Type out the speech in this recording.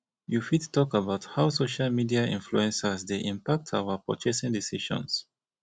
you fit talk about how social media influencers dey impact our purchasing decisions